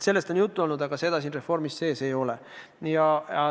Sellest on juttu olnud, aga seda siin reformis sees ei ole.